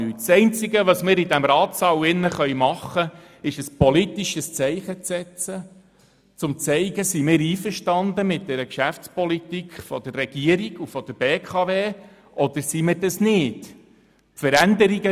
Das Einzige, was wir in diesem Ratssaal tun können, ist ein politisches Zeichen zu setzen, um zu zeigen, dass wir einverstanden sind mit der Geschäftspolitik der Regierung und der BKW oder dass wir dies nicht sind.